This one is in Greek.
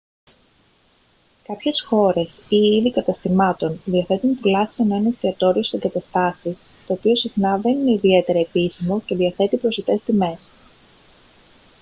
κάποιες χώρες ή είδη καταστημάτων διαθέτουν τουλάχιστον ένα εστιατόριο στις εγκαταστάσεις το οποίο συχνά δεν είναι ιδιαίτερα επίσημο και διαθέτει προσιτές τιμές